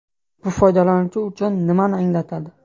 Bu foydalanuvchi uchun nimani anglatadi?